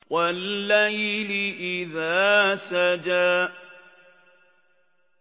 وَاللَّيْلِ إِذَا سَجَىٰ